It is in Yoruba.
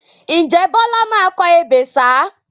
Ǹjẹ́ Bọlá máa kọ ebè ṣáá?